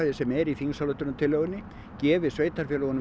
sem er í þingsályktunartillögunni gefi sveitarfélögunum